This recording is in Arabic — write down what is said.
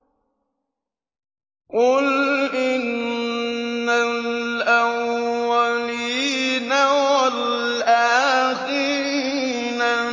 قُلْ إِنَّ الْأَوَّلِينَ وَالْآخِرِينَ